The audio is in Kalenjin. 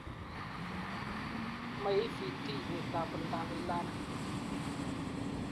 MoEVT ibetab oldoab e-learning